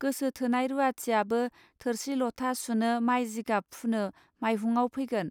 गोसो थोनाय रूवाथियाबो थोरसि लथा सुनो माय जिगाब फनो माइहुंआव फैगोन